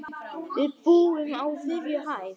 Við búum á þriðju hæð.